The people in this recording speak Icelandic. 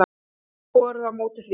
Ekki varð borið á móti því.